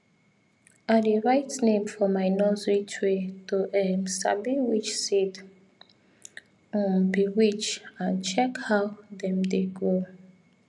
i dey write name for my nursery tray to um sabi which seed um be which and check how dem dey grow